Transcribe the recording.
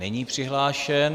Není přihlášen.